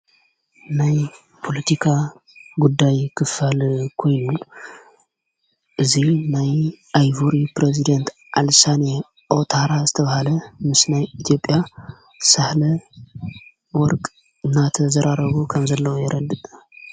ናይ ጵሎቲካ ጉዳይ ክፋል ኮይሉ እዙይ ናይ ኣይሁር ጵረዝዴንት ኣልሳን ኦታራ ዝተብሃለ ምስናይ ኢቲጴያ ሣህለ ወርቅ እናተ ዘራረዎ ኸም ዘለዉ የረድእ።